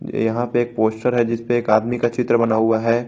यहा पे एक पोस्टर है जिस पे एक आदमी का चित्र बना हुआ है।